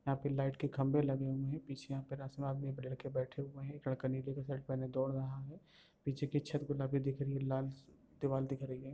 यहाँ पर लाईट के खंभे लगे हुये हैं। पीछे यहाँ लड़के बैठे हुये हैं। एक लड़का नीले के शर्ट पहने दौड़ रहा है। पीछे की छत गुलाबी दिख रही है। लाल दीवाल दिख रही है।